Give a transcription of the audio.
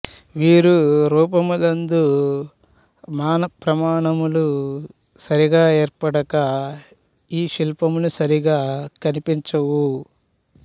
వీరు రూపములందు మాన ప్రమాణములు సరిగా ఏర్పడక ఈశిల్పములు సరిగా కంపించవు